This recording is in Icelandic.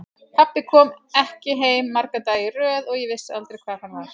Pabbi kom ekki heim marga daga í röð og ég vissi aldrei hvar hann var.